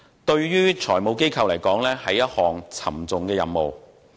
對財務機構來說，這是一項沉重的任務。